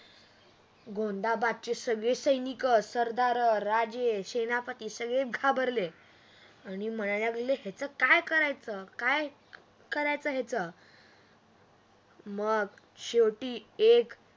गोंधबादची सगळी सैनिक सरदार राजे सेनापति सगळे घाबरले आणि म्हणायला लागले काय करायच ह्याच काय करायच ह्याच मग शेवटी एक